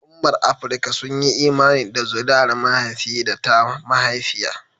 Al'ummar Afirka sun yi imani da zuriyar mahaifi da ta mahaifiya.